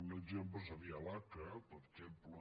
un exemple seria l’aca per exemple